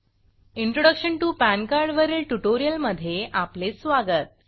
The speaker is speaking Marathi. इंट्रोडक्शन टीओ पान कार्ड वरील ट्युटोरियलमधे आपले स्वागत